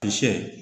Sɛ